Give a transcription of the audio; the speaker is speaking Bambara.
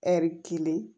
Ɛri kelen